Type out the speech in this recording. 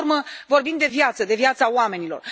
Până la urmă, vorbim de viață, de viața oamenilor.